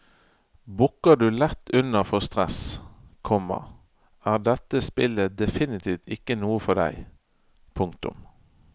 Bukker du lett under for stress, komma er dette spillet definitivt ikke noe for deg. punktum